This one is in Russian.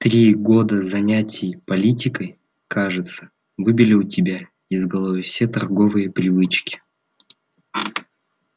три года занятий политикой кажется выбили у тебя из головы все торговые привычки